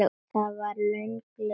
Það var löng leið.